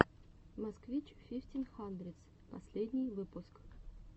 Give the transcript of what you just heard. москвич фифтин хандридс последний выпуск